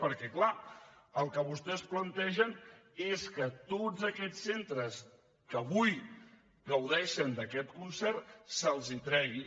perquè clar el que vostès plantegen és que a tots aquests centres que avui gaudeixen d’aquest concert se’ls tregui